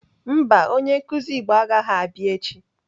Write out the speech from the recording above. Mba, onye nkụzi Igbo agaghị abịa echi.